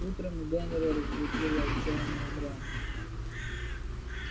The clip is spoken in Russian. утром генри разбудила отчаянная брань